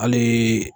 Hali